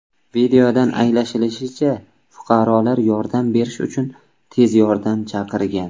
Videodan anglashilishicha, fuqarolar yordam berish uchun tez yordam chaqirgan.